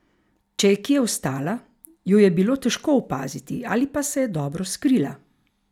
Če je kje ostala, jo je bilo težko opaziti ali pa se je dobro skrila.